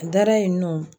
A dara yen nɔ